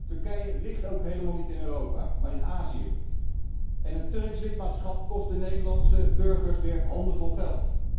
Turkije ligt ook helemaal niet in Europa, maar in Azië, en het Turks lidmaatschap kost de Nederlandse burgers weer handenvol geld.